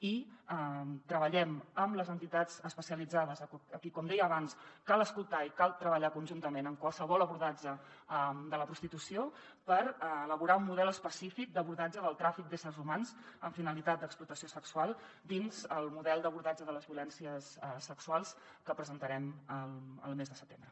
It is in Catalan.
i treballem amb les entitats especialitzades a qui com deia abans cal escoltar i cal treballar hi conjuntament en qualsevol abordatge de la prostitució per elaborar un model específic d’abordatge del tràfic d’éssers humans amb finalitat d’explotació sexual dins el model d’abordatge de les violències sexuals que presentarem el mes de setembre